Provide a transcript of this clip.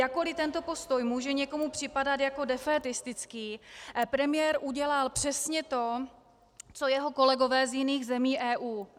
Jakkoliv tento postoj může někomu připadat jako defétistický, premiér udělal přesně to co jeho kolegové z jiných zemí EU.